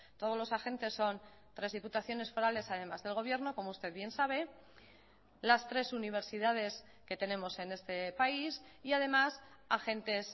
todos los agentes son tres diputaciones forales además del gobierno como usted bien sabe las tres universidades que tenemos en este país y además agentes